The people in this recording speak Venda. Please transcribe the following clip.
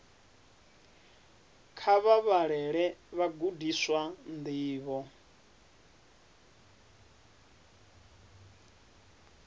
kha vha vhalele vhagudiswa ndivho